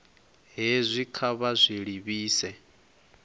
hezwi kha vha zwi livhise